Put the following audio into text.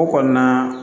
O kɔnɔna